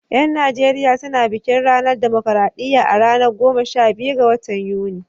Yan Najeriya su na bikin ranar dimokradiyya a ranar goma sha biyu ga watan Yuni.